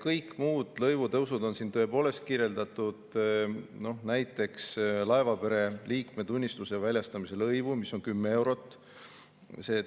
Kõik muud lõivutõusud on siin tõepoolest kirjeldatud, näiteks laevapere liikme tunnistuse väljastamise lõiv, mis on 10 eurot,